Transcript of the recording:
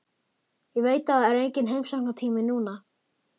Ég veit að það er enginn heimsóknartími núna.